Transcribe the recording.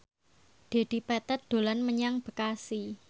Dedi Petet dolan menyang Bekasi